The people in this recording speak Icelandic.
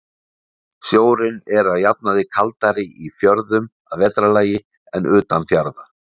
Sjórinn er að jafnaði kaldari í fjörðum að vetrarlagi en utan fjarða.